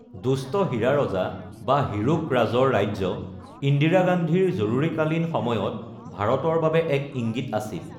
দুষ্ট হীৰা ৰজা বা হিৰোক ৰাজৰ ৰাজ্য, ইন্দিৰা গান্ধীৰ জৰুৰীকালীন সময়ত ভাৰতৰ বাবে এক ইঙ্গিত আছিল।